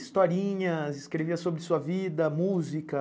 Historinhas, escrevia sobre sua vida, música?